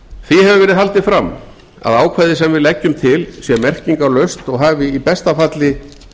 því hefur verið haldið fram að ákvæðið sem við leggjum til sé merkingarlaust og hafi í besta falli